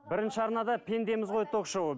бірінші арнада пендеміз ғой ток шоуы